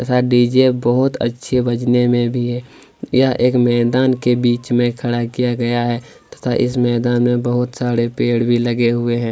सा डी_जे बहुत अच्छे बजने में भी है यह एक मैदान के बीच में खड़ा किया गया है तथा इस मैदान में बहुत सारे पेड़ भी लगे हुए हैं।